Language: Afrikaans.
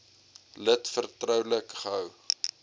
lid vertroulik gehou